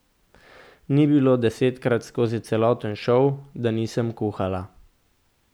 Ni bilo desetkrat skozi celoten šov, da nisem kuhala.